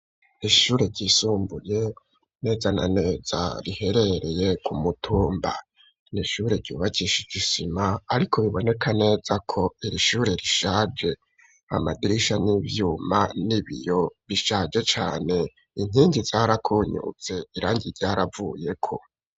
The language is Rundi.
Ishure ryisumbuye neza na neza riherereye ku mutumba n'ishure ryubakishije isima ariko biboneka neza ko iri shure rishaje, amadirisha n'ivyuma n'ibiyo bishaje cane inkingi zarakonyotse irangi ryaravuyeko.